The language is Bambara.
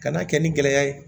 Ka n'a kɛ ni gɛlɛya ye